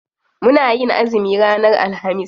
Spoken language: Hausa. Muna yin azumi ranar alhamis.